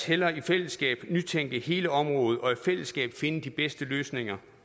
hellere i fællesskab nytænke hele området og i fællesskab finde de bedste løsninger